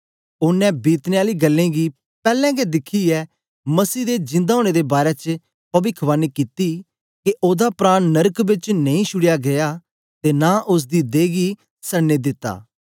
ओनें बीतने आली गल्लें गी पैलैं गै दिखियै मसीह दे जिंदा ओनें दे बारै च पविख्वानी कित्ती के ओदा प्राण नरक बेच नेई छुड़या गीया ते नां ओसदी दहे गी सड़न दित्ता